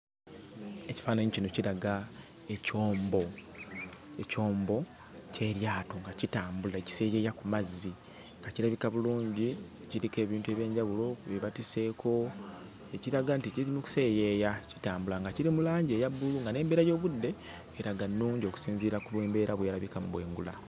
EKifaananyi kino kiraga ekyombo ekyombo ky'eryato nga kitambula kiseeyeeya ku mazzi, nga kirabika bulungi , kiriko ebintu eby'enjawulo bye batisseeko ekiraga nti kiri mu kuseeyeeya kitambula nga kiri mu langi eya bbulu nga n'embeera y'obudde eraga nnungi okusinziira ku mbeera bw'erabika mu bwengula.